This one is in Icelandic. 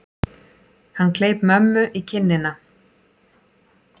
Hann kleip mömmu í kinnina.